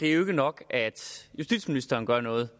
er nok at justitsministeren gør noget